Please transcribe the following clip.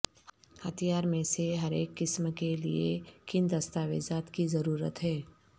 ہتھیار میں سے ہر ایک قسم کے لئے کن دستاویزات کی ضرورت ہے